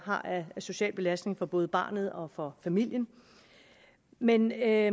har af social belastning for både barnet og og familien men at